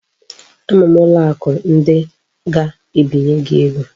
Ama m ụlọ akụ ndị ga-ebinye gị ego